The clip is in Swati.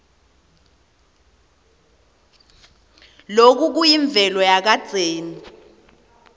loku kuyimvelo yakadzeni